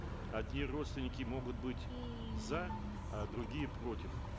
одни родственники могут быть за а другие против